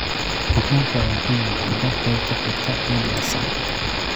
Waxaan rabaa inaan arko qaybta xigta ee diyaarsan